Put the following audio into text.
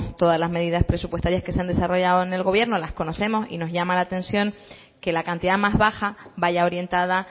todas las medidas presupuestarias que se han desarrollado en el gobierno las conocemos y nos llama la atención que la cantidad más baja vaya orientada